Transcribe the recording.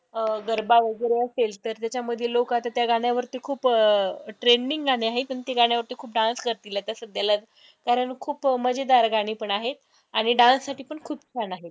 अं गरबा वैगरे असेल तर त्याच्यामध्ये लोकं आता त्या गाण्यावरती खूप अं trending गाणं आहे पण त्या गाण्यावरती खूप dance करतील आता सध्याला कारण खूप मजेदार गाणी पण आहे आणि dance साठी पण खूप fun आहे.